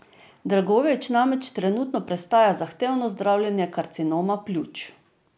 Dragojević namreč trenutno prestaja zahtevno zdravljenje karcinoma pljuč.